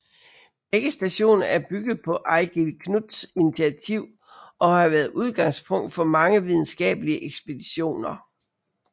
Begge stationer er bygget på Eigil Knuths initiativ og har været udgangspunkt for mange videnskabelige ekspeditioner